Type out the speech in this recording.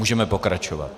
Můžeme pokračovat.